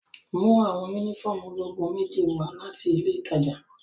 Mu awọn unifọmú ologun meji wa lati ile itaja!